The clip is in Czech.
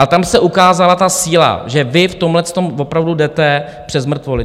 A tam se ukázala ta síla, že vy v tomhletom opravdu jdete přes mrtvoly.